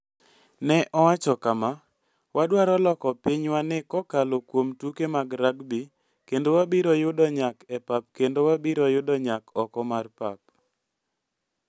Ne owacho kama, "Wadwaro loko pinywani kokalo kuom tuke mag rugby kendo wabiro yudo nyak e pap kendo wabiro yudo nyak oko mar pap".